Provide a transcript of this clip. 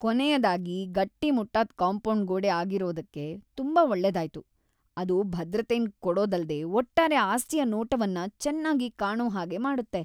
ಕೊನೆಯದಾಗಿ ಗಟ್ಟಿಮುಟ್ಟಾದ್ ಕಾಂಪೌಂಡ್ ಗೋಡೆ ಆಗಿರೋದಕ್ಕೆ ತುಂಬಾ ಒಳ್ಳೆದಾಯ್ತು, ಅದು ಭದ್ರತೆನ್ ಕೊಡೊದಲ್ದೆ ಒಟ್ಟಾರೆ ಅಸ್ತಿಯ ನೋಟವನ್ನು ಚೆನ್ನಾಗಿ ಕಾಣು ಹಾಗೆ ಮಾಡುತ್ತೆ.